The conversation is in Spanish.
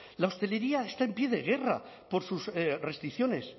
la hostelería está en pie de guerra por sus restricciones